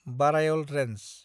Barail range